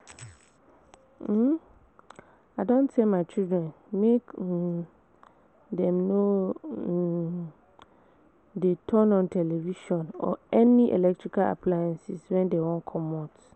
um I don tell my children make um dem no um dey turn on television or any electrical appliance wen dey wan comot